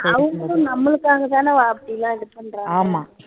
அவங்களும் நம்மளுக்காகதான அப்படி எல்லாம் இது பண்றாங்க